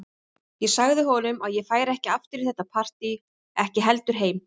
En Skálholtsstaður, það er sú hlunnindajörð sem ég vil ekkert með hafa, svaraði Marteinn.